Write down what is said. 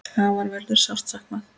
Afa verður sárt saknað.